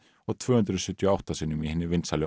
og tvö hundruð sjötíu og átta sinnum í hinni vinsælu